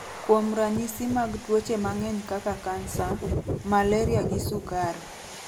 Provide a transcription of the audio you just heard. kuom ranyisi mag tuoche mang’eny kaka kansa, malaria gi sukari.